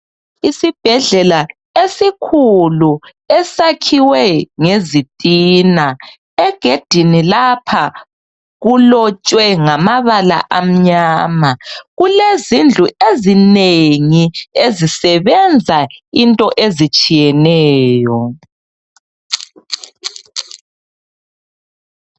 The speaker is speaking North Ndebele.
Isibhedlela esikhulu esakhiwe ngezitina, egedini lapha kulotshwe ngamabala amnyama, kulezindlu ezinengi ezisebenza into ezitshiyeneyo